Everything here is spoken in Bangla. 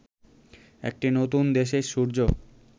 একটি নতুন দেশের সূর্য